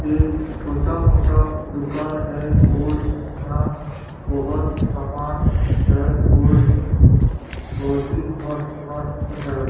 एक छोटा मोठा दुकान है और यहाँ बहोत सामान है और बहोत ही मस्त-मस्त है।